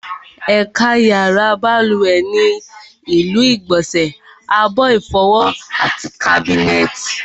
Ẹ̀ka pàtàkì yàrá balùwẹ̀ ni ilu ìgbọ̀nsẹ̀, abọ́ ìfọwọ́, àti kábínẹ̀tì